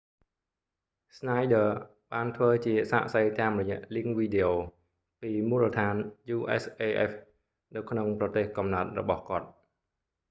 schneider ស្នាយឌ័រ បានធ្វើជាសាក្សីតាមរយៈលីងវីដេអូ videolink ពីមូលដ្ឋាន usaf នៅក្នុងប្រទេសកំណើតរបស់គាត់